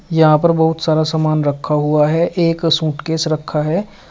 यहां पर बहुत सारा सामान रखा हुआ है एक सूटकेस रखा है।